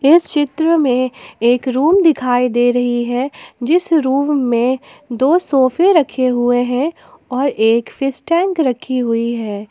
इस चित्र में एक रूम दिखाई दे रही है जिस रूम में दो सोफे रखे हुए हैं और एक फिस टैंक रखी हुई है।